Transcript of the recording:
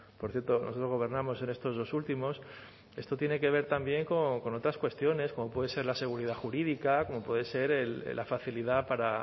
por cierto nosotros gobernamos en estos dos últimos esto tiene que ver también con otras cuestiones como puede ser la seguridad jurídica como puede ser la facilidad para